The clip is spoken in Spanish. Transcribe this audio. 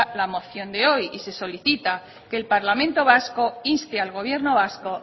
la moción de hoy y se solicita que el parlamento vasco inste al gobierno vasco